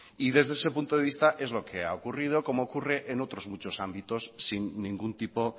desde ese punto de vista es lo que ha ocurrido comoocurre en otros muchos ámbitos sin ningún tipo